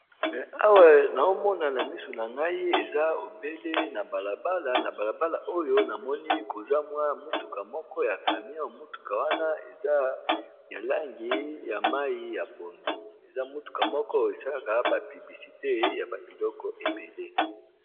Awa na omona na misu na ngai eza ebele na balabala oyo namoni kozamwa motuka moko ya camia motuka wana eza yalangi ya mai ya pondu eza motuka moko esalaka bapibisite ya babiloko ebele.